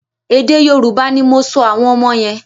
Èdè Yorùbá ni mò sọ àwọn ọmọ yẹn.